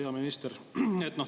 Hea minister!